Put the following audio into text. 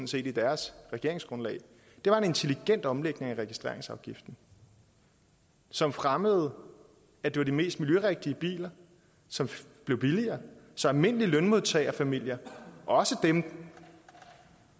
set i deres regeringsgrundlag var en intelligent omlægning af registreringsafgiften som fremmede at det var de mest miljørigtige biler som blev billigere så almindelige lønmodtagerfamilier også dem